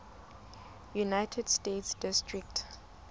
united states district